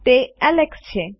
તે એલેક્સ છે